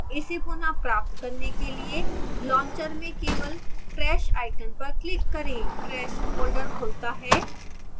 इसे पुनः प्राप्त करने के लिए launcher में केवल trash icon पर click करें trash फोल्डर खुलता है